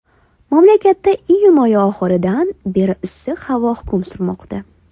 Mamlakatda iyun oyi oxiridan beri issiq havo hukm surmoqda.